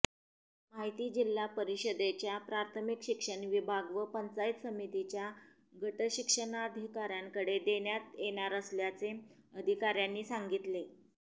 माहिती जिल्हा परिषदेच्या प्राथमिक शिक्षण विभाग व पंचायत समितीच्या गटशिक्षणाधिकार्यांकडे देण्यात येणार असल्याचे अधिकार्यांनी सांगितले